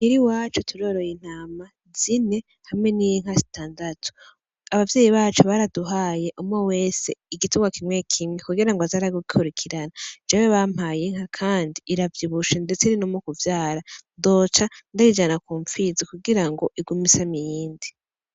Muhira iwacu turoroye intama zine hamwe n'inka zitandatu, abavyeyi bacu baraduhaye umwe wese igitungwa kimwe kimwe kugira ngo aze aragikurikirana, jewe bampaye inka kandi iravyibushe ndetse iri no mu kuvyara, ndoca ndayijana ku mpfizi kugira ngo igume isama iyindi.